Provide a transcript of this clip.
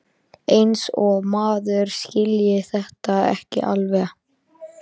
Eins og maður skilji þetta ekki alveg!